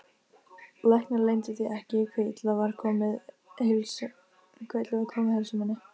Læknar leyndu því ekki hve illa var komið heilsu minni.